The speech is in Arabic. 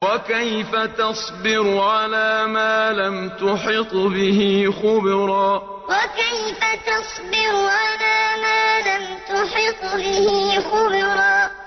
وَكَيْفَ تَصْبِرُ عَلَىٰ مَا لَمْ تُحِطْ بِهِ خُبْرًا وَكَيْفَ تَصْبِرُ عَلَىٰ مَا لَمْ تُحِطْ بِهِ خُبْرًا